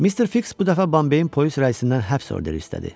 Mister Fiks bu dəfə Bambeyin polis rəisindən həbs orderi istədi.